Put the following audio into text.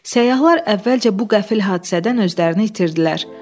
Səyyahlar əvvəlcə bu qəfil hadisədən özlərini itirdilər.